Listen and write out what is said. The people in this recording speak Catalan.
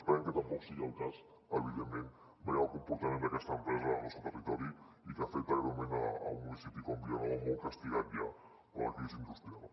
esperem que tampoc sigui el cas evidentment veient el comportament d’aquesta empresa al nostre territori i que afecta greument un municipi com vilanova molt castigat ja per la crisi industrial